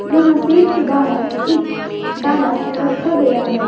यहाँ शेड के बाहर एक डाला रखा गया है।